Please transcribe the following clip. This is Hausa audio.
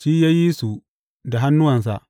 shi ya yi su da hannuwansa.